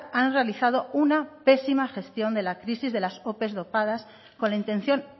han realizado una pésima gestión de la crisis de las ope dopadas con la intención